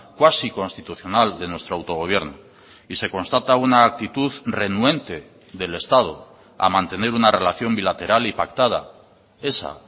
cuasi constitucional de nuestro autogobierno y se constata una actitud renuente del estado a mantener una relación bilateral y pactada esa